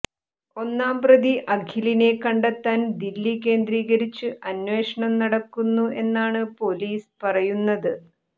ഒന്നാം പ്രതി അഖിലിനെ കണ്ടെത്താൻ ദില്ലി കേന്ദ്രീകരിച്ച് അന്വേഷണം നടക്കുന്നു എന്നാണ് പൊലീസ് പറയുന്നത്